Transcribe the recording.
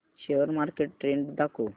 share market trend दाखव